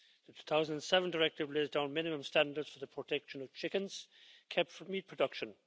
The 2007 Directive lays down minimum standards for the protection of chickens kept for meat production.